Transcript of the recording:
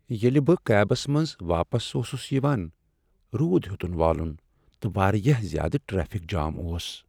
ییٚلہِ بہٕ کیبس منٛز واپس اوسُس یوان، رود ہیوٚتُن والُن ، تہٕ واریاہ زیادٕ ٹریفک جام اوس۔